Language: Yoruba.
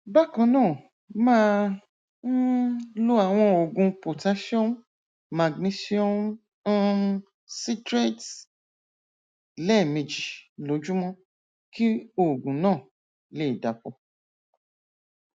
bákan náà máa um lo àwọn oògùn potassium magnesium um citrate lẹẹmejì lójúmọ kí oògùn náà lè dàpọ